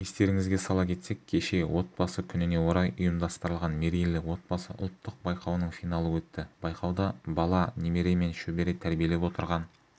естеріңізге сала кетсек кеше отбасы күніне орай ұйымдастырылған мерейлі отбасы ұлттық байқауының финалы өтті байқауда бала немере мен шөбере тәрбиелеп отырған